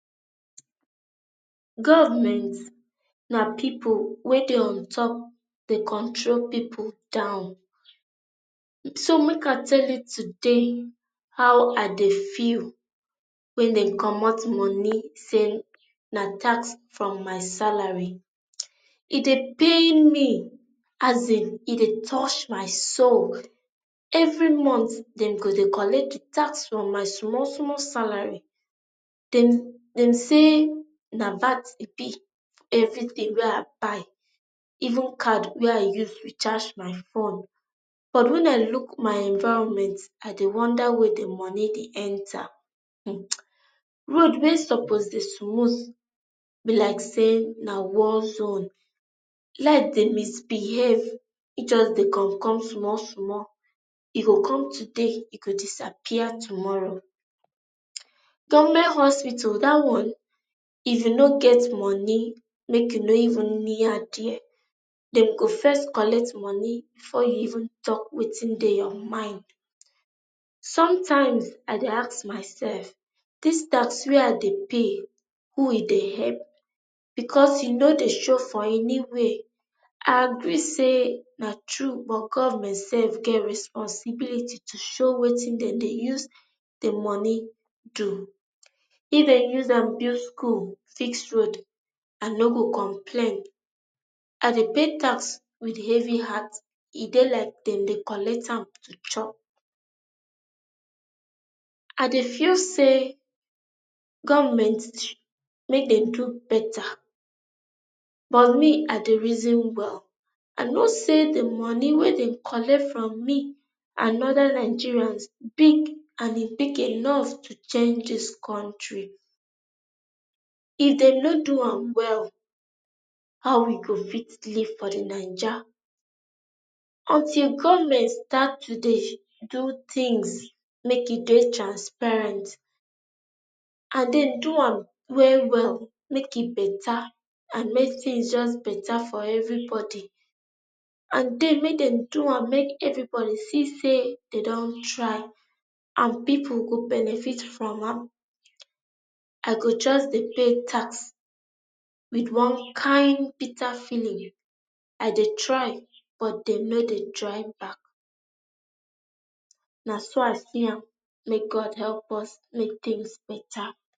Government na people, wey dey on top dey control people down. So make I tell you today how I dey feel when dem comot money say na tax from my salary. e dey pay me as in, E dey toch my soul. every month dem go dey collect the tax from my small, small salary. dem dem say na VAT e be, everything wey, I buy even card wey I use recharge my phone. But when I look my environment, i dey wonder where the money dey enter. um road wey suppose dey smooth be like say na war zone. Light dey misbehave. e just dey come come small small e go come today e go disappear tomorrow, government hospital that one if you no get money make you no even near there. dem go first collect money before you even talk wetin dey your mind .Sometimes I dey ask myself, this tax where they i pay, who e dey help because e no dey show for anyway. i agree say na true but government self get responsibility to show wetin dem dey use the money do. if dey use am build school, fix road ino go complain. I dey pay tax with heavy heart. e dey like dem dey collect am to chop i dey feel say government make dem do better but me i dey reason well. I know say the money wey dey collect from me and other Nigerians big and ebig enough to change this country. if dey no do am well, how we go fit live for the naija? until government start to dey do thingx make e dey transparent, and dem do am well well, make e beta and make things just beta for everybody and then make dem do am make everybody see say dey don try and people go benefit from am, I go, just they pay tax with one kind bitter feeling. I dey try, but dem no dey try back na so I see him, may God help us make things better.